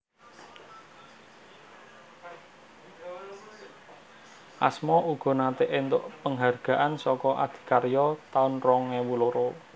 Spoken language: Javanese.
Asma uga nate entuk penghargaan saka Adikarya taun rong ewu loro